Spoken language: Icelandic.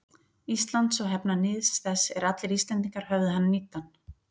Íslands og hefna níðs þess er allir Íslendingar höfðu hann níddan.